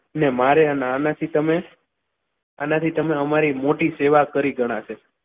ને મારે અને આનાથી તમે આનાથી તમે અમારી મોટી સેવા કરી ગણાશે.